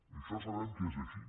això sabem que és així